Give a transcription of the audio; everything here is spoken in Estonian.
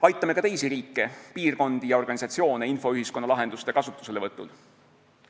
Aitame ka teisi riike, piirkondi ja organisatsioone infoühiskonna lahenduste kasutuselevõtul.